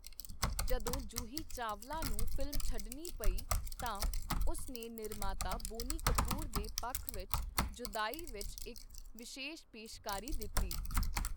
ਜਦੋਂ ਜੂਹੀ ਚਾਵਲਾ ਨੂੰ ਫ਼ਿਲਮ ਛੱਡਣੀ ਪਈ, ਤਾਂ ਉਸ ਨੇ ਨਿਰਮਾਤਾ ਬੋਨੀ ਕਪੂਰ ਦੇ ਪੱਖ ਵਿੱਚ 'ਜੁਦਾਈ' ਵਿੱਚ ਇੱਕ ਵਿਸ਼ੇਸ਼ ਪੇਸ਼ਕਾਰੀ ਦਿੱਤੀ।